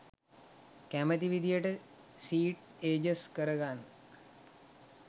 කැමති විදිහට සීට් එජස් කර ගන්න